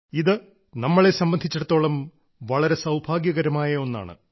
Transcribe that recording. ഇത് നമ്മളെ സംബന്ധിച്ചിടത്തോളം വളരെ സൌഭാഗ്യകരമായ ഒന്നാണ്